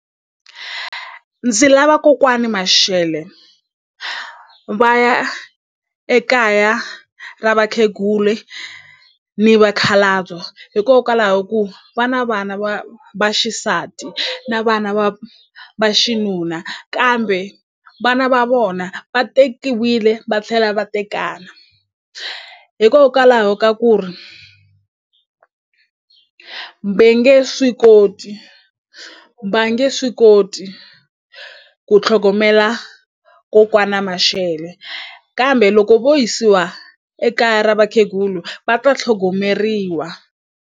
Ndzi lava kokwani Mashele va ya ekaya ra vakheguli ni vakhalabyo hikokwalaho ku va na vana va vaxisati na vana va vaxinuna kambe vana va vona va tekiwile va tlhela va tekana hikokwalaho ka ku ri ve nge swi koti va nge swi koti tlhogomela kokwana Mashele kambe loko vo yisiwa ekaya ra vakhegulu va ta tlhogomeriwa.